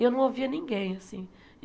E eu não ouvia ninguém, assim.